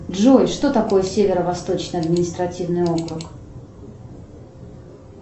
джой что такое северо восточный административный округ